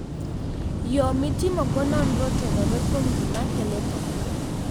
Yo mitimogo nonro otenore kuom gima kelo tho.